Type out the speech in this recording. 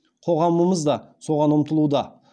қоғамымыз да соған ұмтылуда